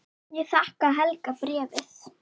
Ég þakka Helga bréfið.